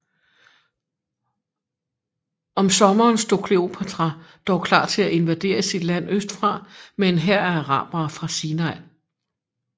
Om sommeren stod Kleopatra dog klar til at invadere sit land østfra med en hær af arabere fra Sinai